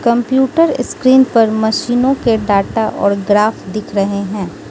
Computer screen पर मशीनों के डाटा और ग्राफ दिख रहे हैं।